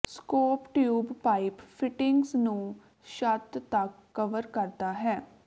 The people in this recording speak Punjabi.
ਸਕੋਪ ਟਿਊਬ ਪਾਈਪ ਫਿਟਿੰਗਸ ਨੂੰ ਛੱਤ ਤੱਕ ਕਵਰ ਕਰਦਾ ਹੈ